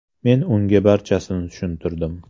Men unga barchasini tushuntirdim.